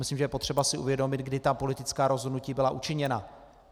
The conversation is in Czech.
Myslím, že je potřeba si uvědomit, kdy ta politická rozhodnutí byla učiněna.